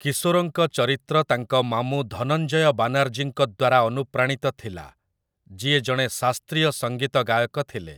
କିଶୋରଙ୍କ ଚରିତ୍ର ତାଙ୍କ ମାମୁଁ ଧନଞ୍ଜୟ ବାନାର୍ଜୀଙ୍କ ଦ୍ୱାରା ଅନୁପ୍ରାଣିତ ଥିଲା, ଯିଏ ଜଣେ ଶାସ୍ତ୍ରୀୟ ସଙ୍ଗୀତ ଗାୟକ ଥିଲେ ।